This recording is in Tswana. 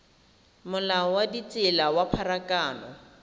molao wa ditsela wa pharakano